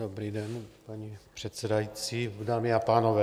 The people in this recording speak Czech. Dobrý den, paní předsedající, dámy a pánové.